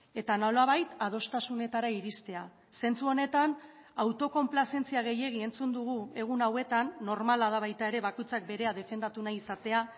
eta nolabait adostasunetara iristea zentzu honetan autokonplazentzia gehiegi entzun dugu egun hauetan normala da baita ere bakoitzak berea defendatu nahi izatea